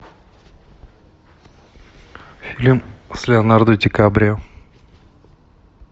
фильм с леонардо ди каприо